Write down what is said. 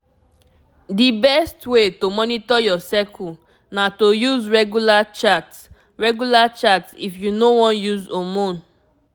the best way to monitor your cycle na to use regular chart regular chart if you no wan use hormone